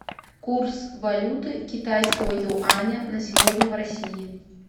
курс валюты китайского юаня на сегодня в россии